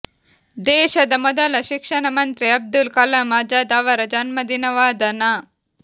ದೇಶದ ಮೊದಲ ಶಿಕ್ಷಣ ಮಂತ್ರಿ ಅಬ್ದುಲ್ ಕಲಾಂ ಅಜಾದ್ ಅವರ ಜನ್ಮದಿನವಾದ ನ